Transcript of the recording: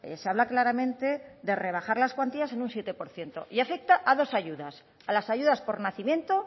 se habla claramente de rebajar las cuantías en un siete por ciento y afecta a dos ayudas a las ayudas por nacimiento